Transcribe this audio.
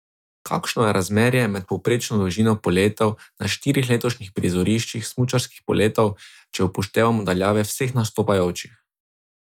Kakšno je razmerje med povprečno dolžino poletov na štirih letošnjih prizoriščih smučarskih poletov, če upoštevamo daljave vseh nastopajočih?